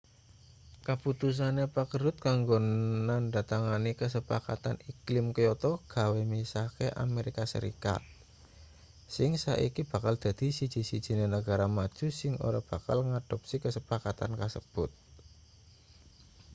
kaputusane pak rudd kanggo nandhatangani kasepakatan iklim kyoto gawe misahke amerika serikat sing saiki bakal dadi siji-sijine negara maju sing ora bakal ngadopsi kasepakatan kasebut